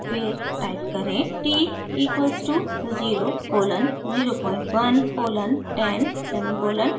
फिर टाइप करें: t equals to 0 colon 01 colon 10 semicolon